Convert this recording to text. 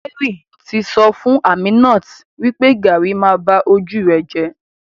Jerry ti sọ fún Aminat wipe garri ma ba ojú rẹ jẹ.